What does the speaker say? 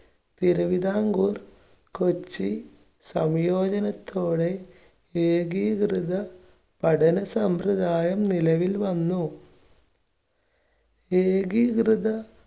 തിരുവിതാംകൂർ കൊച്ചി സംയോജനത്തോടെ ഏകീകൃത പഠന സമ്പ്രദായം നിലവിൽ വന്നു. ഏകീകൃത